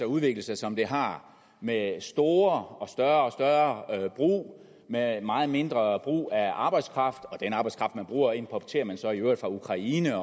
udviklet sig som det har med store og større og større brug med meget mindre brug af arbejdskraft og den arbejdskraft man bruger importerer man så i øvrigt fra ukraine